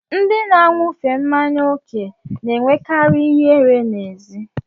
Ndị na-aṅufe mmanya oke na-enwekarị ihere n'ezi.